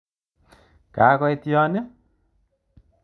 Kakoit yon i?